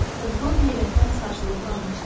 Oğlan heyrətdən sarsılıb qalmışdı.